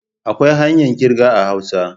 Akwai hanyar kirga a hausa.